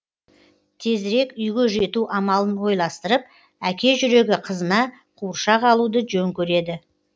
тезірек үйге жету амалын ойластырып әке жүрегі қызына қуыршақ алуды жөн көреді